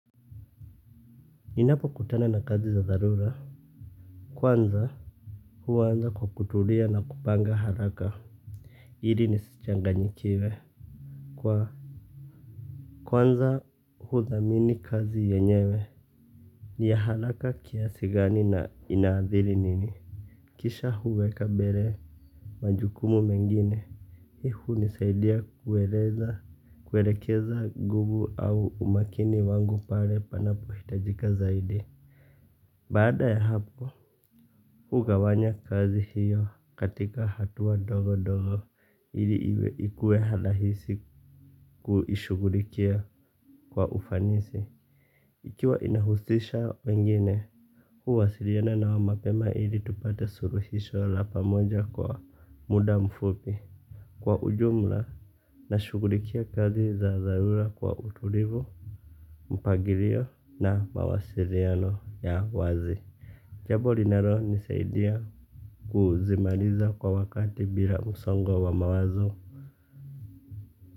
Ninapo kutana na kazi za dharura. Kwanza huwa naanza kwa kutulia na kupanga haraka. Ili nisichanganyikiwe kwanza hudhamini kazi yenyewe. Ni ya haraka kiasi gani na inaadhiri nini. Kisha huweka mbere majukumu mengine. Hihu nisaidia kuweleza kuwelekeza gubu au umakini wangu pare panapo hitajika zaidi. Baada ya hapo. Hugawanyaga kazi hiyo katika hatua ndogo ndogo ili ikue rahisi kuishughulikia kwa ufanisi. Ikiwa inahusisha wengine, huwasiliana nao mapema ili tupata suluhisho la pamoja kwa muda mfupi. Kwa ujumla na shugulikia kazi za zarura kwa utulivu, mpagirio na mawasiriano ya wazi. Jambo linalo nisaidia kuzimaliza kwa wakati bila musongo wa mawazo.